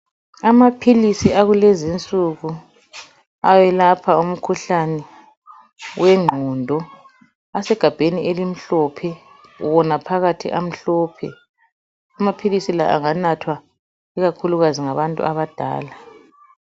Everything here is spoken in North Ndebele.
Amaphilisi akulezinsuku ayelapha umkhuhlane wengqondo asegabheni elimhlophe wona phakathi amahlophe amaphilisi la anganathwa ikakhulukazi ngabantu abadala.